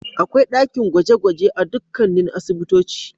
Akwai dakin gwaje-gwaje a dukkanin asibitoci.